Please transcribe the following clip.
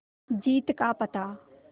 जीत का पता